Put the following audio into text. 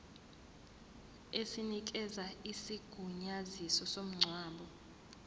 esinikeza isigunyaziso somngcwabo